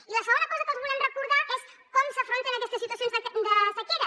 i la segona cosa que els volem recordar és com s’afronten aquestes situacions de sequera